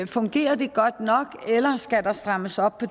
fungerer de godt nok eller skal der strammes op på